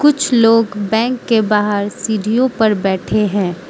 कुछ लोग बैंक के बाहर सीडीओ पर बैठे हैं।